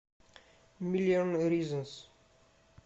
миллион ризонс